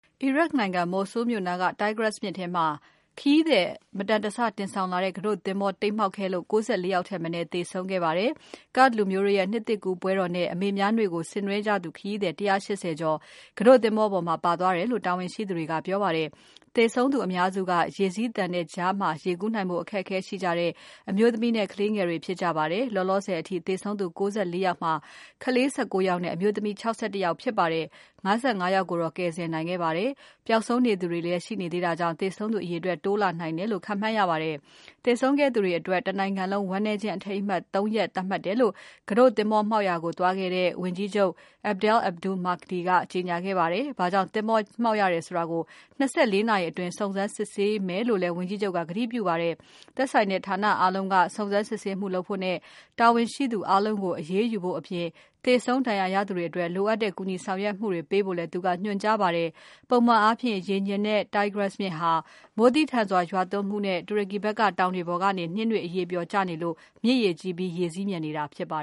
အီရတ်နိုင်ငံ Mosul မြို့နားက Tigris မြစ်ထဲမှာ ခရီးသည် မတန်တဆ တင်ဆောင်လာတဲ့ ကူးတို့သင်္ဘောတိမ်းမှောက်ခဲ့လို့ ၉၄ ယောက်ထက်မနည်း သေဆုံးခဲ့ပါတယ်။ Kurd လူမျိုးတို့ရဲ့ နှစ်သစ်ကူးပွဲတော်နဲ့ အမေများနေ့ကို ဆင်နွဲကြသူခရီးသည် ၁၈၀ ကျော် ကတို့သင်္ဘောပေါ်မှာ ပါသွားတယ်လို့ တာဝန်ရှိသူတွေက ပြောပါတယ်။ သေဆုံးသူအများစုက ရေစီးသန်တဲ့ကြားမှာ ရေကူးနိုင်ဖို့ အခက်အခဲရှိကြတဲ့ အမျိုးသမီးနဲ့ ကလေးငယ်တွေ ဖြစ်ကြပါတယ်။ လောလောဆယ်အထိ သေဆုံးသူ ၉၄ ယောက်မှာ ကလေး ၁၉ ယောက်နဲ့ အမျိုးသမီး ၆၁ ယောက်ဖြစ်ကြပါတယ်။ ၅၅ ယောက်ကိုတော့ ကယ်ဆယ်နိုင်ခဲ့ပါတယ်။ ပျောက်ဆုံးနေသူတွေလည်း ရှိနေသေးတာကြောင့် သေဆုံးသူအရေအတွက် တိုးလာနိုင်တယ်လို့ ခန့်မှန်းရပါတယ်။ သေဆုံးခဲ့သူတွေအတွက် တနိုင်ငံလုံး ဝမ်းနည်းခြင်းအထိမ်းအမှတ် ၃ ရက်သတ်မှတ်တယ်လို့ ကတို့သင်္ဘော မှောက်ရာကို သွားခဲ့တဲ့ ဝန်ကြီးချုပ် Adel Abdul Mahdi က ကြေညာခဲ့ပါတယ်။ ဘာကြောင့် သင်္ဘောမှောက်ရတယ်ဆိုတာကို ၂၄ နာရီအတွင်း စုံစမ်းစစ်ဆေးမယ်လို့လည်း ဝန်ကြီးချုပ်က ကတိပြုခဲ့ပါတယ်။ သက်ဆိုင်တဲ့ဌာနအားလုံးက စုံစမ်းစစ်ဆေးမှုလုပ်ဖို့နဲ့ တာဝန်ရှိသူအားလုံးကို အရေးယူဖို့အပြင် သေဆုံး ဒဏ်ရာရသူတွေအတွက် လိုအပ်တဲ့ကူညီဆောင်ရွက်မှုတွေပေးဖို့လည်း သူကညွှန်ကြားထားပါတယ်။ ပုံမှန်အားဖြင့် ရေငြိမ်တဲ့ Tigris မြစ်ဟာ မိုးသည်းထန်စွာ ရွာသွန်းမှုနဲ့ တူရကီဖက်က တောင်တွေပေါ်ကနေ နှင်းတွေ အရည်ပျော်ကျနေလို့ မြစ်ရေကြီးပြီး ရေစီးမြန်နေတာ ဖြစ်ပါ